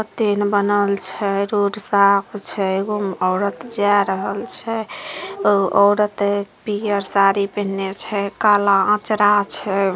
कते ने बनल छै रोड साफ छै एगो में औरत जाय रहल छै औरत पियर साड़ी पिंहला छै काला अचरा छै।